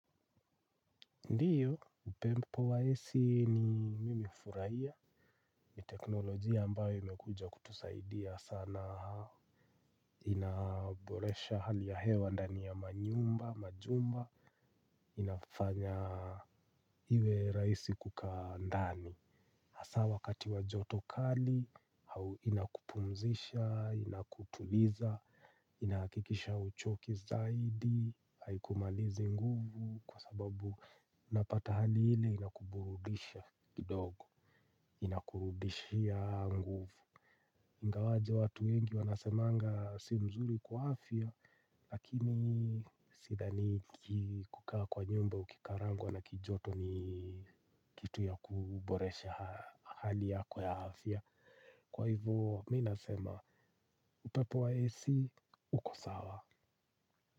Ndiyo, upepo wa ac ni mimi hufurahia, ni teknolojia ambayo imekuja kutusaidia sana, inaboresha hali ya hewa ndani ya manyumba, majumba, inafanya iwe rahisi kukaa ndani. Hasa wakati wa joto kali, au inakupumzisha, inakutuliza, inahakikisha huchoki zaidi, haikumalizi nguvu kwa sababu napata hali ile inakuburudisha kidogo, inakurudishia nguvu. Ingawaje watu wengi wanasemanga si mzuri kwa afya lakini sidhani kukaa kwa nyumba ukikarangwa na kijoto ni kitu ya kuboresha hali yako ya afya. Kwa hivyo mimi nasema upepo wa ac uko sawa.